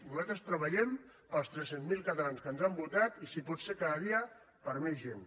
nosaltres treballem per als tres cents miler catalans que ens han votat i si pot ser cada dia per a més gent